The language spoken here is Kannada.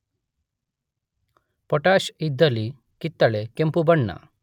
ಪೊಟಾಷ್ ಇದ್ದಲ್ಲಿ ಕಿತ್ತಳೆ ಕೆಂಪು ಬಣ್ಣ